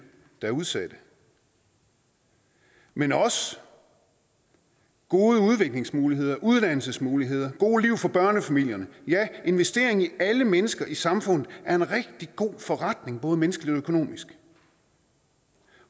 der er udsatte men også gode udviklingsmuligheder uddannelsesmuligheder gode liv for børnefamilierne ja investering i alle mennesker i samfundet er en rigtig god forretning både menneskeligt og økonomisk